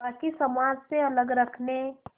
बाक़ी समाज से अलग रखने